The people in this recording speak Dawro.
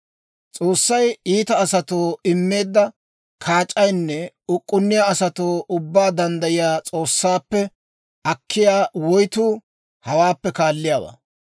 «S'oossay iita asatoo immeedda kaac'aynne uk'k'unniyaa asatuu Ubbaa Danddayiyaa S'oossaappe akkiyaa woytuu hawaappe kaalliyaawaa.